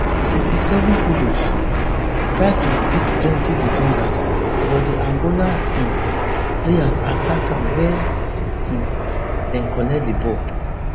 sixty-sevenkudus try to beat plenty defenders but di angola um players attack am wia um dem collect di ball